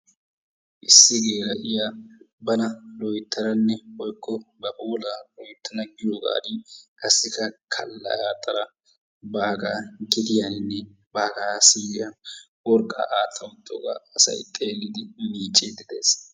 issi geela'iya bana loytadanne woykko ba puulaa loytana giyoogani qassikka kala aadhada baagaa gediyaninne baagaa siiriyan worqaa aata utoogaa asay xeelidinne miiciidi des.